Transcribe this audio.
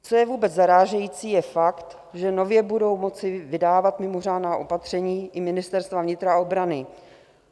Co je vůbec zarážející, je fakt, že nově budou moci vydávat mimořádná opatření i ministerstva vnitra a obrany.